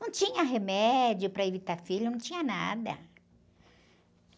Não tinha remédio para evitar filho, não tinha nada.